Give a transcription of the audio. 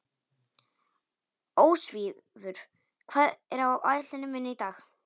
Ósvífur, hvað er á áætluninni minni í dag?